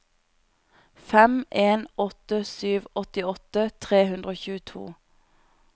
fem en åtte sju åttiåtte tre hundre og tjueto